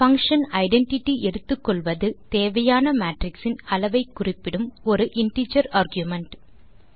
function identity எடுத்துக்கொள்வது தேவையான matrix இன் அளவை குறிப்பிடும் ஒரு இன்டிஜர் ஆர்குமென்ட்